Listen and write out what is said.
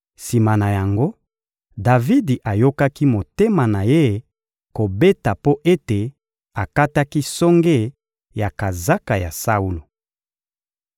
Sima na yango, Davidi ayokaki motema na ye kobeta mpo ete akataki songe ya kazaka ya Saulo.